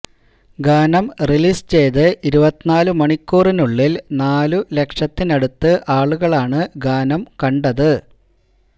ഗാനം റിലീസ് ചെയ്ത് ഇരുപത്തിനാല് മണിക്കൂറിനുള്ളില് നാലുലക്ഷത്തിനടുത്ത് ആളുകളാണ് ഗാനം കണ്ടത്